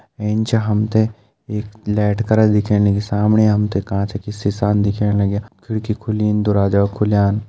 एैनचा हमथे एक लैट करल दिखेण लगी सामणे हमथे काच की सिसा न दिखेण लग्या खिड़की खुलीन दोरवाजा खुलयान।